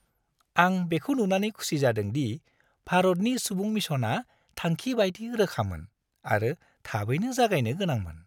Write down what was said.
आं बेखौ नुनानै खुसि जादों दि भारतनि सुबुं-मिशनआ थांखि बायदि रोखामोन आरो थाबैनो जागायनो गोनांमोन।